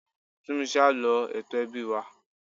Túnmise á lọ ètò ẹbí wa.